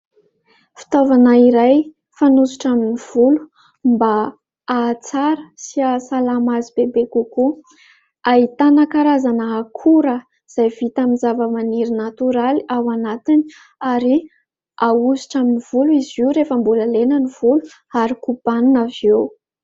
Fitaovana iray fanosotra amin'ny volo mba hahatsara sy hahasalama azy bebe kokoa. Ahitana karazana akora izay vita amin'ny zava-maniry natoraly ao anatiny ary ahosotra amin'ny volo izy io rehefa mbola lena ny volo ary kobanina avy eo.